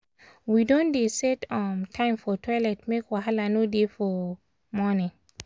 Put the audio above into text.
we don dey set um time for toilet make wahala no dey for morning.